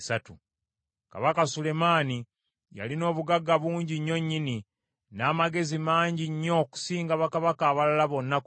Kabaka Sulemaani yalina obugagga bungi nnyo nnyini, n’amagezi mangi nnyo okusinga bakabaka abalala bonna ku nsi.